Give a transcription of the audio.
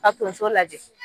Ka tonso lajɛ.